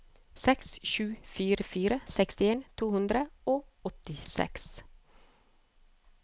seks sju fire fire sekstien to hundre og åttiseks